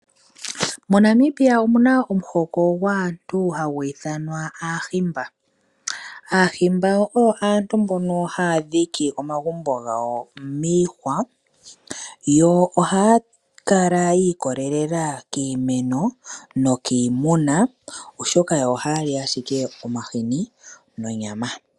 Mo Namibia omuma ohoko gwaantu hagu ithanwa aahimba. Aahimba oyo aantu mbono haya dhiki omagumbo gawo miihwa yo ohaya kala yi ikolelela kiimeno nokiimuna oshoka yo ohayali ashike omahini nonyama.